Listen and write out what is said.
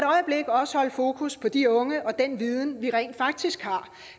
øjeblik også holde fokus på de unge og den viden vi rent faktisk har